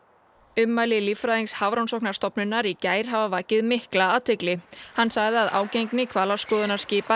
ummæli líffræðings Hafrannsóknastofnunar í gær hafa vakið mikla athygli hann sagði að ágengni